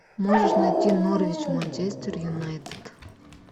можешь найти норвич манчестер юнайтед